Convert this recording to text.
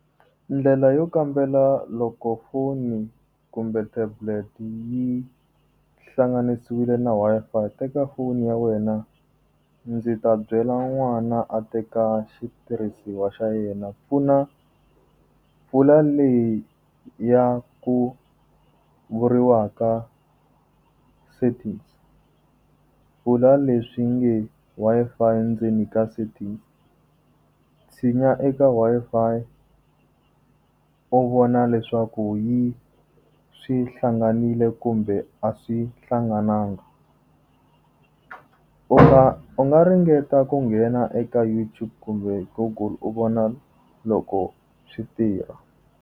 Ndlela yo kambela loko foni kumbe tablet yi hlanganisiwile na Wi-Fi teka foni ya wena, ndzi ta byela n'wana a teka xitirhisiwa xa yena, pfuna pfula leyi ya ku vuriwaka setting. Pfula leswi nge Wi-Fi ndzeni ka setting. Tshinya eka Wi-Fi, u vona leswaku yi swi hlanganile kumbe a swi hlanganangi. U nga u nga ringeta ku nghena eka YouTube kumbe Google u vona loko swi tirha.